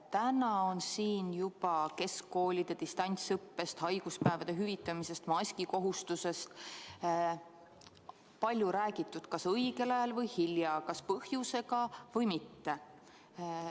Täna on siin juba keskkoolide distantsõppest, haiguspäevade hüvitamisest ja maski kohustuslikkusest palju räägitud – kas õigel ajal või hilja, kas põhjusega või mitte.